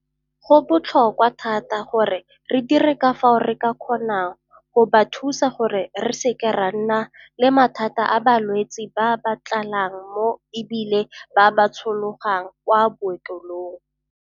Go botlhokwa thata gore re dire ka fao re ka kgonang go ba thusa gore re seke ra nna le mathata a balwetse ba ba tlalang mo e bileng ba tshologang kwa maokelong.